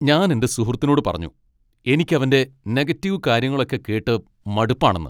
ഞാൻ എന്റെ സുഹൃത്തിനോട് പറഞ്ഞു എനിക്ക് അവന്റെ നെഗറ്റീവ് കാര്യങ്ങളൊക്കെ കേട്ട് മടുപ്പാണെന്ന്.